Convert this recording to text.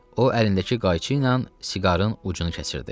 O əlindəki qayçı ilə siqarın ucunu kəsirdi.